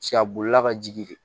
Cɛ a bolila ka jigin de